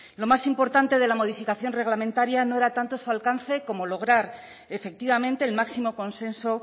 lo más importante de la modificación reglamentaria no era tanto su alcance como lograr efectivamente el máximo consenso